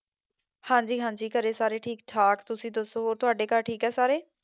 ਹੰਜੀ ਹਾਂਜੀ ਘਰੇ ਸਾਰੇ ਠੀਕ ਠਾਕ, ਤੁਸੀਂ ਦੱਸੋ ਤੁਹਾਡੇ ਘਰ ਠੀਕ ਹੈ ਸਾਰੇ?